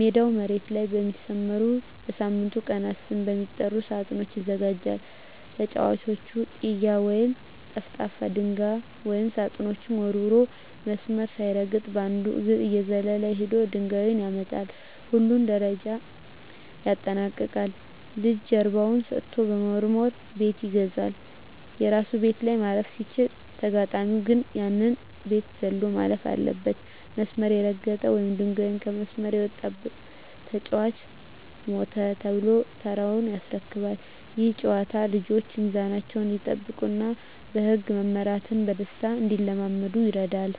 ሜዳው መሬት ላይ በሚሰመሩና በሳምንቱ ቀናት ስም በሚጠሩ ሳጥኖች ይዘጋጃል። ተጫዋቹ "ጢያ" ወይም ጠፍጣፋ ድንጋይ ወደ ሳጥኖቹ ወርውሮ፣ መስመር ሳይረግጥ በአንድ እግሩ እየዘለለ ሄዶ ድንጋዩን ያመጣል። ሁሉንም ደረጃዎች ያጠናቀቀ ልጅ ጀርባውን ሰጥቶ በመወርወር "ቤት ይገዛል"። የራሱ ቤት ላይ ማረፍ ሲችል፣ ተጋጣሚው ግን ያንን ቤት ዘሎ ማለፍ አለበት። መስመር የረገጠ ወይም ድንጋዩ ከመስመር የወጣበት ተጫዋች "ሞተ" ተብሎ ተራውን ያስረክባል። ይህ ጨዋታ ልጆች ሚዛናቸውን እንዲጠብቁና በህግ መመራትን በደስታ እንዲለማመዱ ይረዳል።